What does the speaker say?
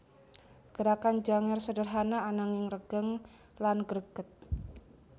Gerakan Janger sederhana ananging regeng lan greget